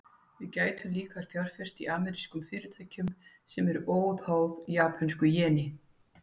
Við gætum líka fjárfest í amerískum fyrirtækjum, sem eru óháð japönsku jeni.